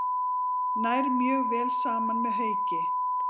Nær mjög vel saman með Hauki.